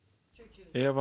Eva